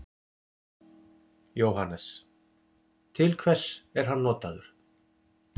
Jóhannes: Til hvers er hann notaður?